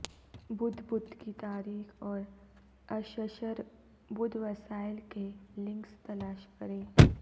بدھ بدھ کی تاریخ اور اششر بدھ وسائل کے لنکس تلاش کریں